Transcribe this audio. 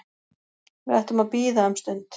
Við ættum að bíða um stund